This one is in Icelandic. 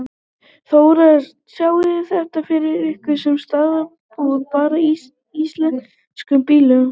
Þóra: Sjáið þið þetta fyrir ykkur sem staðalbúnað bara í íslenskum bílum?